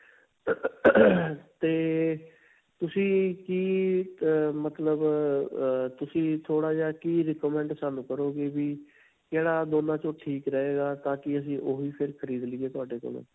'ਤੇ ਤੁਸੀਂ ਕਿ ਅਅ ਮਤਲਬ ਅਅ ਤੁਸੀਂ ਥੋੜਾ ਜਿਹਾ ਕਿ recommend ਸਾਨੂੰ ਕਰੋਗੇ ਵੀ ਕਿਹੜਾ ਦੋਨਾਂ 'ਚ ਠੀਕ ਰਹੇਗਾ, ਤਾਂਕਿ ਅਸੀਂ ਉਹੀ ਫੇਰ ਖਰੀਦ ਲਈਏ ਤੁਹਾਡੇ ਕੋਲੋਂ.